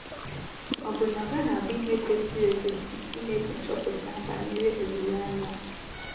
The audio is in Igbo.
Ọ́ bụ na ọ gaghị abụ ihe kwesịrị ekwesị imekwu nchọpụta banyere olileanya a?